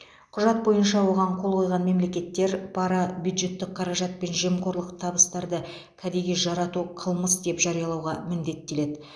құжат бойынша оған қол қойған мемлекеттер пара бюджеттік қаражат пен жемқорлық табыстарды кәдеге жарату қылмыс деп жариялауға міндеттеледі